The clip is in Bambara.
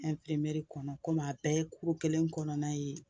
kɔnɔ kɔmi a bɛɛ ye kelen kɔnɔna ye,